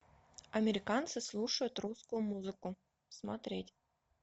американцы слушают русскую музыку смотреть